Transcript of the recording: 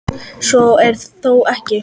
Svo er þó ekki.